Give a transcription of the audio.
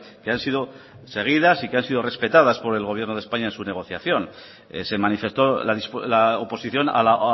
que han sido seguidas y que han sido respetadas por el gobierno de españa en su negociación se manifestó la oposición a la